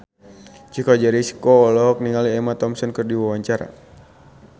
Chico Jericho olohok ningali Emma Thompson keur diwawancara